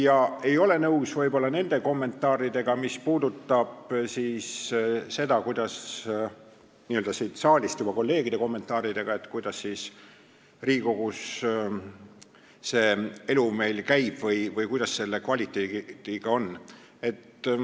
Aga ma ei ole nõus nende juba siit saalist tulnud kolleegide kommentaaridega, kuidas Riigikogus see elu meil käib või kuidas selle kvaliteediga on.